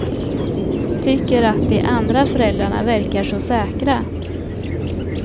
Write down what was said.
Tycker att de andra föräldrarna verkar så säkra.